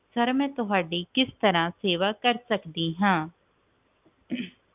sir ਮੈਂ ਤੁਹਾਡੀ ਕਿਸ ਤਰ੍ਹਾਂ ਸੇਵਾ ਕਰ ਸਕਦੀ ਆ